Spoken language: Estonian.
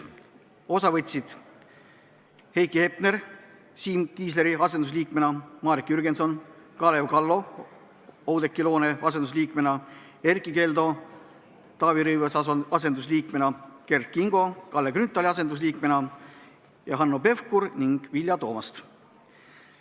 Osa võtsid Heiki Hepner, Siim Kiisleri asendusliikmena Marek Jürgenson, Kalev Kallo Oudekki Loone asendusliikmena, Erkki Keldo Taavi Rõivase asendusliikmena, Kert Kingo Kalle Grünthali asendusliikmena ning Hanno Pevkur ja Vilja Toomast.